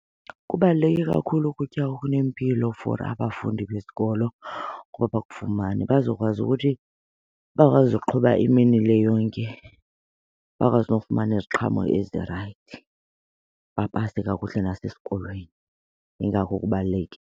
Kubaluleke kakhulu ukutya okunempilo for abafundi besikolo ukuba bakufumane bazokwazi ukuthi bakwazi ukuqhuba imini le yonke, bakwazi nokufumana iziqhamo ezirayithi bapase kakuhle nasesikolweni, yingako kubalulekile.